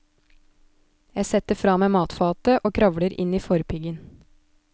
Jeg setter fra meg matfatet og kravler inn i forpiggen.